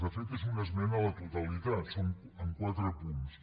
de fet és una esmena a la totalitat en quatre punts